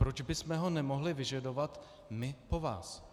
Proč bychom ho nemohli vyžadovat my po vás?